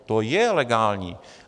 To je legální.